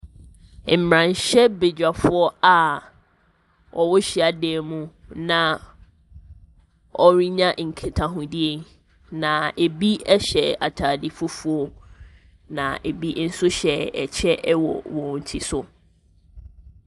Mmarahyɛbadwafoɔ a wɔwɔ hyiadan mu na wɔrenya nkitahodie, na ebi hyɛ atade fufuo, na ebi nso hyɛ kyɛ wɔ wɔn ti so.